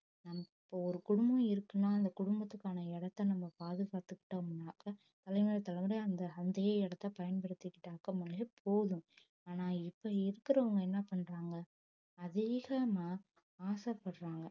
நமக்கு ஒரு குடும்பம் இருக்குன்னா அந்த குடும்பத்துக்கான இடத்தை நம்ம பாதுகாத்துக்கிட்டோம்னாக்க தலைமுறை தலைமுறை அந்த அதே இடத்தை பயன்படுத்திக்கிட்டாங்கமலே போதும் ஆனா இப்ப இருக்கறவங்க என்ன பண்றாங்க அதிகமா ஆசைப்படறாங்க